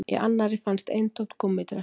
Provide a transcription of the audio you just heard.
Í annarri fannst eintómt gúmmídrasl